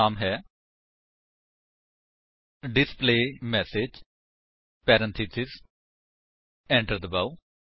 ਨਾਮ ਹੈ display message parenthesis enter ਕਰੋ